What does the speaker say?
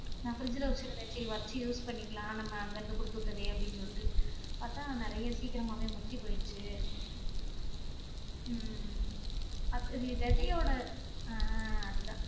நா fridge ல வச்சி இருந்த செரி வச்சி use பண்ணிக்கிலாம் நம்ம அங்க இருந்து குடுத்துவிட்டதே அப்படி சொல்லிட்டு பார்த்தா நிறையா சீக்கிரமாவே முத்தி போயிருச்சி உம் விதையோட அஹ் அதுதா